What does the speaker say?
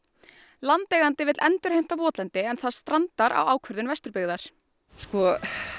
landeigandi vill endurheimta votlendi en það strandar á ákvörðun Vesturbyggðar sko